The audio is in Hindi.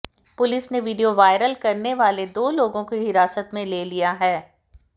पुलिस ने वीडियो वायरल करने वाले दो लोगों को हिरासत में ले लिया है